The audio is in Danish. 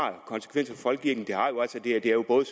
konsekvenser for folkekirken det er jo både